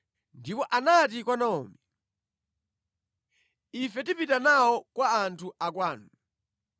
Ndipo anati kwa Naomi, “Ife tipita nawo kwa anthu akwanu.”